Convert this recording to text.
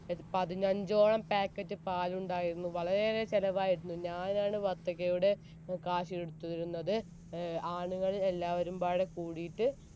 പതിനഞ്ചോളം packet പാലുണ്ടായിരുന്നു വളരെ ഏറെ ചെലവായിരുന്നു ഞാൻ ആയിരുന്നു ഞാൻ ആണ് വത്തക്കയുടെ cash എടുത്തിരുന്നത് ഏർ ആണുങ്ങൾ എല്ലാവരും ആകംബടെ കൂടിയിട്ട്